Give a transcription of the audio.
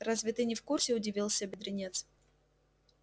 разве ты не в курсе удивился бедренец